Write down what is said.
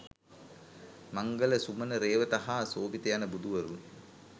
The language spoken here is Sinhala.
මංගල, සුමන, රේවත හා සෝභිත යන බුදුවරුන්